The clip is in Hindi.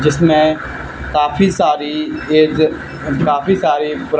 जिसमें काफी सारी ये जो काफी सारी पूरा --